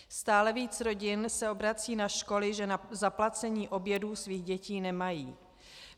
Stále více rodin se obrací na školy, že na zaplacení obědů svých dětí nemají.